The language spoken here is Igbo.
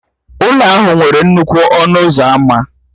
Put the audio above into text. Ụlọ ahụ nwere nnukwu ọnụ ụzọ ámá